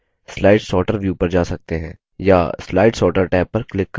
या slide sorter tab पर click करके